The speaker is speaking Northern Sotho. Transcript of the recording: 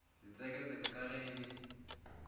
setseketseke ka ge e le